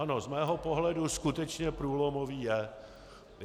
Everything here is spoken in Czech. Ano, z mého pohledu skutečně průlomový je.